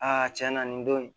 Aa tiɲɛ na nin don in